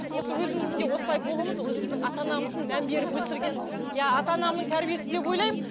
осы өзіміздің де осылай болуымыз өзіміздің ата анамыздың мән беріп өсірген иә ата анамның тәрбиесі деп ойлаймын